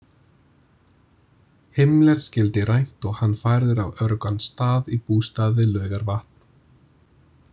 Himmler skyldi rænt og hann færður á öruggan stað í bústað við Laugarvatn.